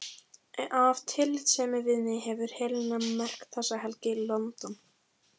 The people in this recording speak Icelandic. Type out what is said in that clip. Af tillitssemi við mig hefur Helena merkt þessa helgi: London